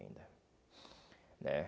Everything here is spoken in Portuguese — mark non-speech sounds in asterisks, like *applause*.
*unintelligible* né